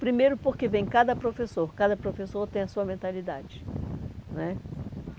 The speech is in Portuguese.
Primeiro porque vem cada professor, cada professor tem a sua mentalidade né.